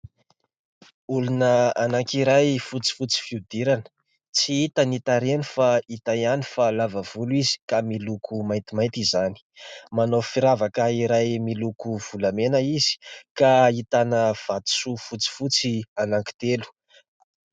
Olona anankiray fotsifotsy fihodirana. Tsy hita ny tarehiny fa hita ihany fa lava volo izy ka miloko maintimainty izany. Manao firavaka iray miloko volamena izy ka ahitana vatosoa fotsifotsy anankitelo.